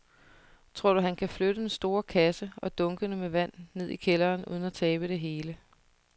Tror du, at han kan flytte den store kasse og dunkene med vand ned i kælderen uden at tabe det hele?